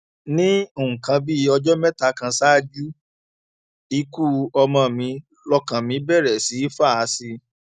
ní nǹkan bíi ọjọ mẹta kan ṣáájú ikú ọmọ mi lọkàn mi bẹrẹ sí í fà sí i